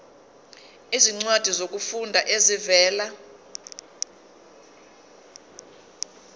izincwadi zokufunda ezivela